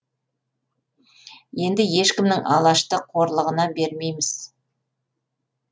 енді ешкімнің алашты қорлығына бермейміз